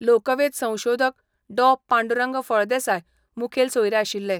लोकवेद संशोधक डॉ पांडुरंग फळदेसाय मुखेल सोयरे आशिल्ले.